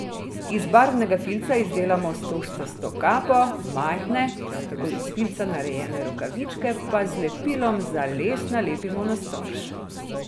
Iz barvnega filca izdelamo stožčasto kapo, majhne, prav tako iz filca narejen rokavičke pa z lepilom za les nalepimo na storž.